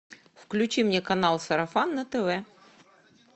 включи мне канал сарафан на тв